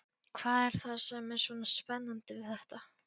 Hvað er það sem er svona spennandi við þetta?